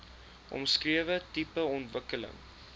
omskrewe tipe ontwikkeling